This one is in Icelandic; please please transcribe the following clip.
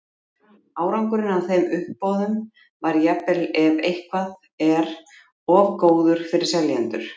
árangurinn af þeim uppboðum var jafnvel ef eitthvað er of góður fyrir seljendur